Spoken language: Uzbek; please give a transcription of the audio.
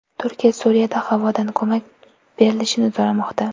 Turkiya Suriyada havodan ko‘mak berilishini so‘ramoqda.